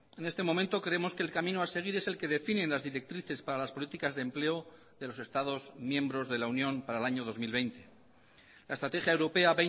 en este momento creemos que el camino a seguir es el que definen las directrices para las políticas de empleo de los estados miembros de la unión para el año dos mil veinte la estrategia europea